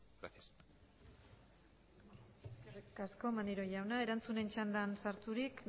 eskerrik asko maneiro jauna erantzunen txandan sarturik